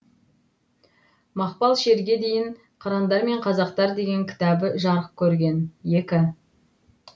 мақпал шерге дейін қырандар мен қазақтар деген кітабы жарық көрген